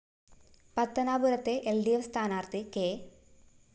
പത്തനാപുരത്തെ L D F സ്ഥാനാര്‍ത്ഥി K